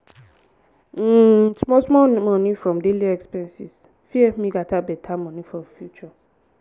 um small small savings from daily expenses fit help me gather better money for future.